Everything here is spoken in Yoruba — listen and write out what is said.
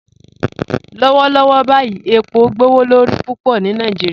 Lọwọlọwọ báyì epo gbowolorí púpọ ni Nàìjíríà